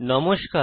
নমস্কার